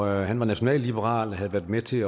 han var nationalliberal og havde været med til